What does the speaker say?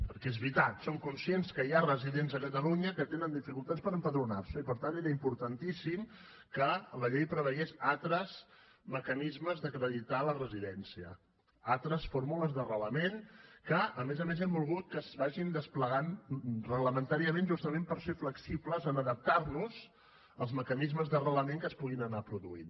perquè és veritat som conscients que hi ha residents a catalunya que tenen dificultats per empadronar se i per tant era importantíssim que la llei preveiés altres mecanismes d’acreditar la residència altres fórmules d’arrelament que a més a més hem volgut que es vagin desplegant reglamentàriament justament per ser flexibles en adaptar nos als mecanismes d’arrelament que es puguin anar produint